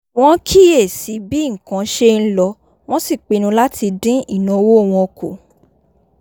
wọ́n kíyè sí bí nǹkan ṣe ń lọ wọ́n sì pinnu láti dín ìnáwó wọn kù